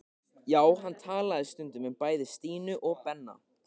Já, hann talaði stundum um bæði Stínu og Benna.